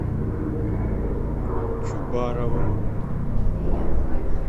чубаровым